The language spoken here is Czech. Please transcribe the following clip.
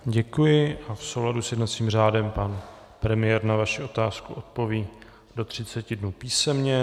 Děkuji a v souladu s jednacím řádem pan premiér na vaši otázku odpoví do 30 dnů písemně.